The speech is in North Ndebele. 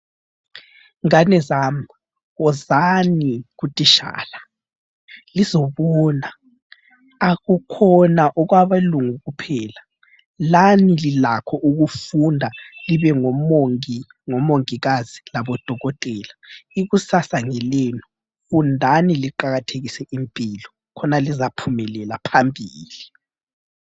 Ngane zami, wozani kutitshala lizobona. Akukhona kwabelungu kuphela. Lani lilakho ukufunda libe, ngomongi, ngomongikazi labo dokotela. Ikusasa ngelenu. Fundani liqakathekise impilo khona lizaphumelela phambili.